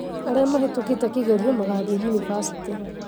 Arĩa mahĩtũkĩte kĩgerio magathiĩ yunĩbacĩtĩ